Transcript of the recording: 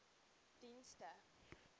dienste